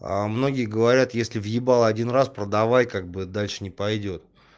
а многие говорят если въебала один раз продавай как бы дальше не пойдёт